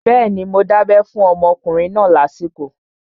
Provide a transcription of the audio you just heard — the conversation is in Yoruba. Bẹ́ẹ̀ni, mo dábẹ́ fún ọmọkùnrin náà lásìkò